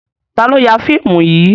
Ta ló ya fíìmù yìí?